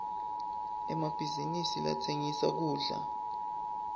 emabhizinisi latsengisa kudla